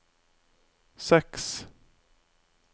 seks